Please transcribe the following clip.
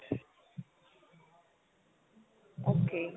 okay